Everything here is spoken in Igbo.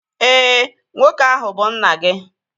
Éè, nwoke ahu bu nna gị